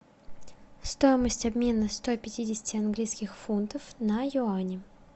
стоимость обмена ста пятидесяти английских фунтов на юани